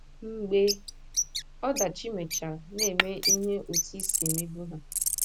Mgbe ọdachi mechara, na - eme ihe otú i si emebu ha